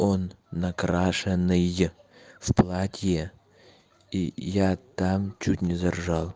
он накрашенный в платье и я там чуть не заржал